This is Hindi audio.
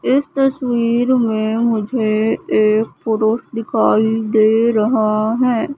इस तस्वीर में मुझे एक पुरुष दिखाई दे रहा है।